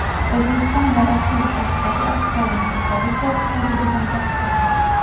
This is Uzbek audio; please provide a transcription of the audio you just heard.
O‘zbekiston va Rossiya o‘rtasidagi iqtisodiy hamkorlik to‘g‘risidagi bitim tasdiqlandi.